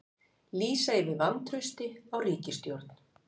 Lýsa yfir vantrausti á ríkisstjórn